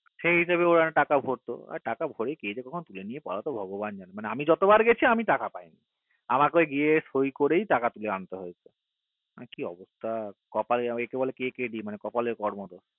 সেই হিসাবে ওরা টাকা ভরত ভগবান জানে আমি যত বার গেছি টাকা পাই নি আমাকে গিয়ে ওই সই করেই টাকা তুলে আনতে হতো কি অবস্থা একেই বলে কপালের কে কে কপালের কর্ম দোষ